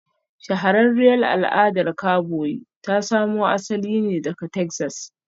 Shahararriyar al'adar kaboyi ta samo asali ne daga Texas